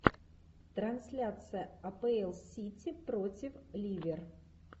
трансляция апл сити против ливер